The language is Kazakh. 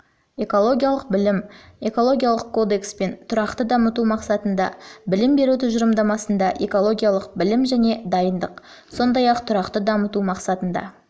экологиялық білім экологиялық кодекс пен тұрақты дамыту мақсатында білім беру тұжырымдамасында экологиялық білім және дайындық сондай-ақ тұрақты дамыту мақсатында